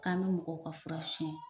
K'an bɛ mɔgɔw ka fura sonyɛ.